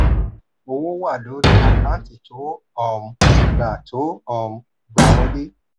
owó wà lórí àkáǹtì tó um gbà tó um gbà wọlé.